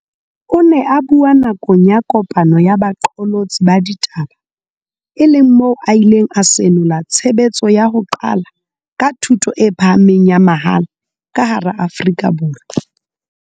O ne a bua nakong ya kopano ya baqolotsi ba ditaba e leng moo a ileng a senola tshebetso ya ho qala ka thuto e pha hameng ya mahala ka hara Afrika Borwa.